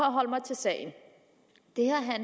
at holde mig til sagen